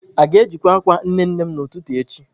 A ga-ejikwa akwa nne nne m n'ụtụtụ echi?